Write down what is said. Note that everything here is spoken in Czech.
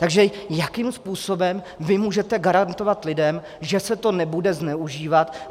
Takže jakým způsobem vy můžete garantovat lidem, že se to nebude zneužívat?